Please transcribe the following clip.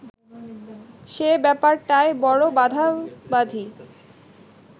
সে ব্যাপারটায় বড় বাঁধাবাঁধি